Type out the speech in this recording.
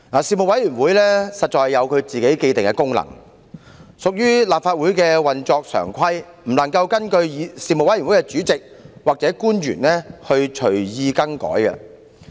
事務委員會實在有其既定職能，須按立法會的常規運作，不能任由事務委員會主席或官員隨意更改。